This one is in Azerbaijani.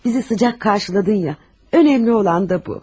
Bizi isti qarşıladın ya, vacib olan da bu.